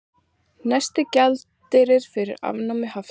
Nægur gjaldeyrir fyrir afnámi hafta